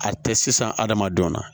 A tɛ sisan adamadenw na